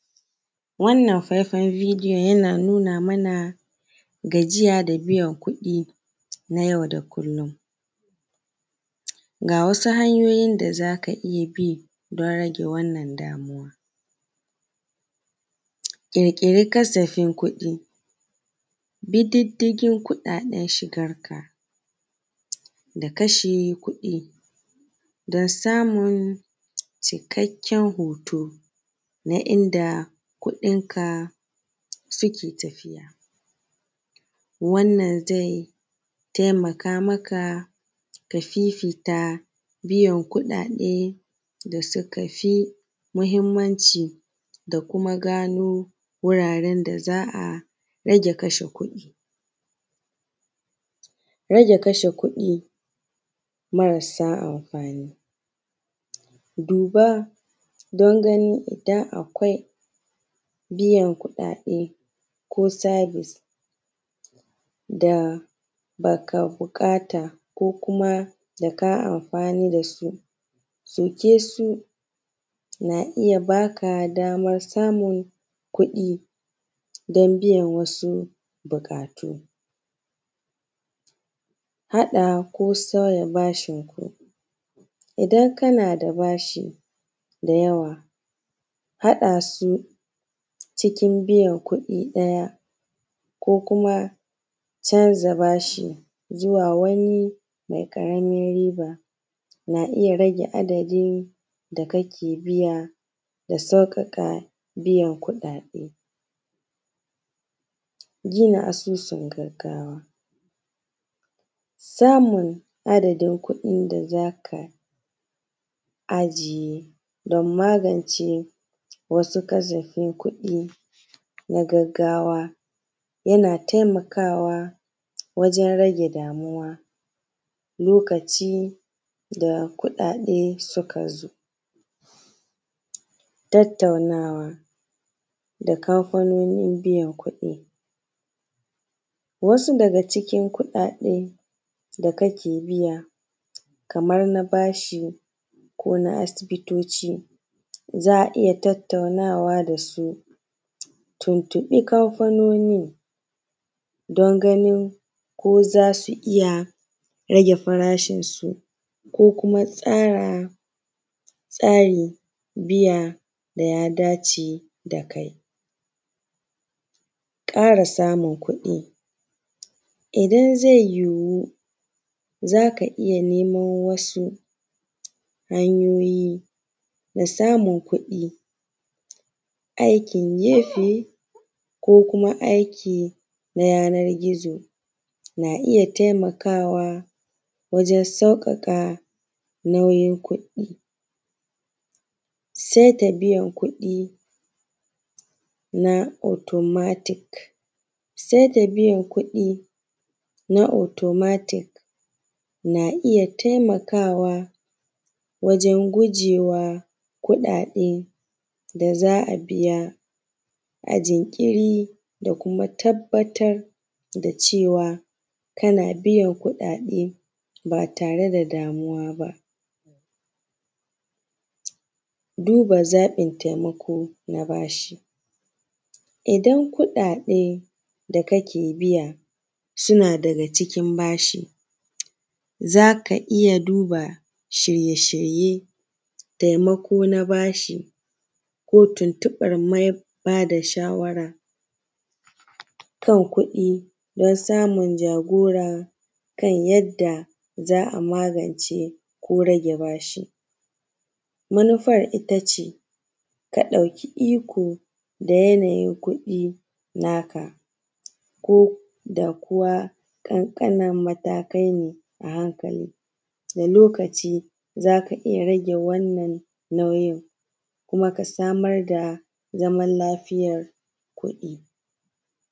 Wannan faifayan bidiyon yana nuna mana gajiya da biyan kuɗi na yau da kullun. Ga wasu hanyoyin da za ka iya bi don rage wannan damuwa. ƙirƙiri kasafin kuɗi, bi diddiƙin kuɗaɗen shigar ka da kashe kuɗi don samun cikakken hoton na inda kuɗinka suke tafiya. Wannan zai taimaka maka fifita biyan kuɗaɗe da suka fi muhimmanci da kuma gano wuraren da za a rage kashe kuɗi. Rage kashe kuɗi marasa amfani, duba don ganin idan akwai biyan kuɗaɗe ko service da ba ka buƙata, ko kuma da ka amafani da su, sauke su na iya baka damar samun kuɗi don biyan wasu buƙatu. Haɗa ko sauya bashin ku. Idan kana da bashi da yawa haɗa su cikin biyan kuɗi ɗaya ko kuma canza bashi zuwa wani mai ƙaramin riba na iya rage adadin da ake biya da sauƙaƙa biyan kuɗaɗe. Gina asusun gaggawa. Samun adadin kuɗin da za ka ajiye don magance wasu kasafin kuɗi na gaggawa yana taimaka wa wajan rage damuwa lokaci da kuɗaɗe suka zo. Tattaunawa na kamfanonin biyan kuɗi. Wasu daga cikin kuɗaɗe da kake biya kaman na bashi, ko na asibitoci, za a iya tattaunawa da su a tuntuɓi kamfanonin don ganin ko za su iya rage farashin su, ko kuma tsara tsarin biya da ya dace da ka yi. Ƙara samun kuɗi. Idan zai yiwu za ka iya neman wasu hanyoyi na samun kuɗi, aikin gefe, ko aikin na yananar gizo na iya taimaka wa wajan sauƙaƙawa nauyin kuɗi. Saita biyan kudi na automatic na iya taimakawa wajan gujewa kuɗaɗe da za a biya a jinkiri da kuma tabbatar da cewa kana biyan kuɗaɗe ba tare da damuwa ba. Duba zaɓin taimako na bashi. Idan kuɗaɗe da kake biya suna daga cikin bashi, za ka iya duba shirye-shiryen, taimako na bashi ko tuntuɓar mai ba da shawara kan kuɗi don samun jagora kan yadda za a magance rage bashi. Manufar ita ce ka ɗauki iko da yanayin kuɗi na ka koda kuwa ƙanƙanan matakai ne a hankali. Da lokaci za ka iya rage wannan nauyin kuma ka samar da zaman lafiyar kuɗi.